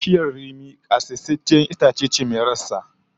Bishiyar rimi kasaitacciyar itaciya ce, ga girma cda kuma rassa masu girma